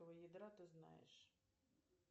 ядра ты знаешь